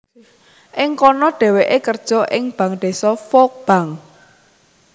Ing kono dhèwèké kerja ing Bank Désa Volk bank